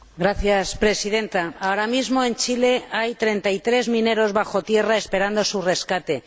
Señora Presidenta, ahora mismo en Chile hay 33 mineros bajo tierra esperando su rescate.